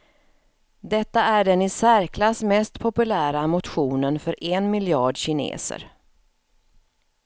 Detta är den i särklass mest populära motionen för en miljard kineser.